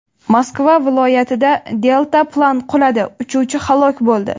Moskva viloyatida deltaplan quladi, uchuvchi halok bo‘ldi.